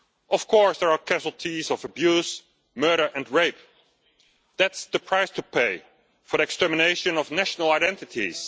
Of course there are casualties of abuse, murder and rape. That's the price to pay for the extermination of national identities.